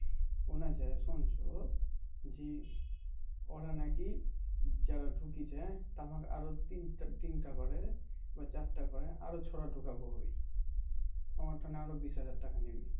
অন্য এক জায়গায় শুনছো যে ওরা নাকি যারা ঢুকিয়েছে তেমন আরও তিনটা করে বা চারটা করে আরও ছোরা ঢোকাবো আমি আমার থেকে আরও বিশ হাজার টাকা নেবে